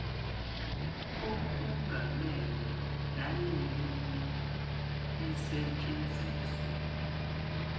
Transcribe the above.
okungamele nanini isetshenziswe